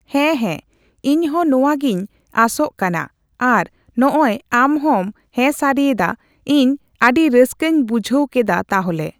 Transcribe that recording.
ᱦᱮ ᱦᱮ ᱤᱧᱦᱚ ᱱᱚᱣᱟᱜᱤᱧ ᱟᱥᱚᱜ ᱠᱟᱱᱟ ᱟᱨ ᱱᱚᱜᱚᱭ ᱟᱢᱦᱚᱢ ᱦᱮᱸ ᱥᱟᱹᱨᱤᱭᱟᱫᱟ ᱤᱧ ᱟᱹᱰᱤ ᱨᱟᱹᱥᱠᱟᱹᱧ ᱵᱩᱡᱷᱟᱣᱠᱮᱫᱟ ᱛᱟᱦᱚᱞᱮ